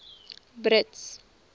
brits